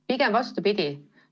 Pigem vastupidi.